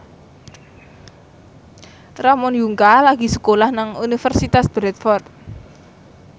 Ramon Yungka lagi sekolah nang Universitas Bradford